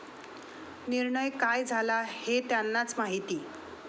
निर्णय काय झाला हे त्यांनाच माहिती.